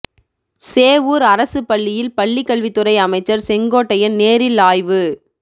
சேவூர் அரசு பள்ளியில் பள்ளிக் கல்வித்துறை அமைச்சர் செங்கோட்டையன் நேரில் ஆய்வு